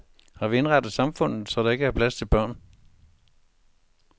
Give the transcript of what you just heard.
Har vi indrettet samfundet så der ikke er plads til børn?